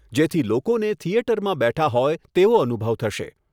જેથી લોકોને થિયેટરમાં બેઠા હોય તેવો અનુભવ થશે.